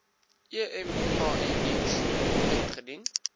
emia diens ingedien